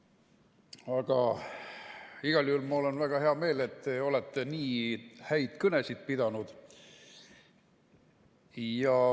Aga igal juhul on mul väga hea meel, et te olete nii häid kõnesid pidanud.